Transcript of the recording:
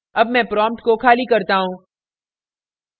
अब मैं prompt को खाली करता हूँ